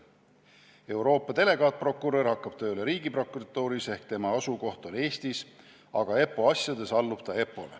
Euroopa delegaatprokurör hakkab tööle Riigiprokuratuuris ehk tema asukoht on Eestis, aga EPPO asjades allub ta EPPO-le.